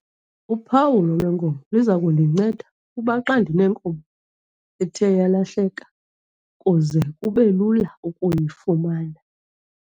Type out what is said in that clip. Uphawulo lweenkomo liza kundinceda kuba xa ndinenkomo ethe yalahleka kuze kube lula ukuyifumana.